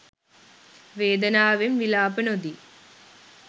වේදනාවෙන් විලාප නොදී